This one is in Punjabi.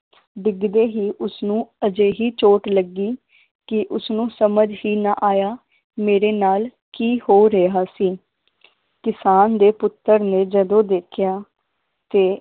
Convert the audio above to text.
ਡਿੱਗਦੇ ਹੀ ਉਸਨੂੰ ਅਜਿਹੀ ਚੋਟ ਲੱਗੀ ਕਿ ਉਸਨੂੰ ਸਮਝ ਹੀ ਨਾ ਆਇਆ ਮੇਰੇ ਨਾਲ ਕੀ ਹੋ ਰਿਹਾ ਸੀ ਕਿਸਾਨ ਦੇ ਪੁੱਤਰ ਨੇ ਜਦੋਂ ਦੇਖਿਆ ਤੇ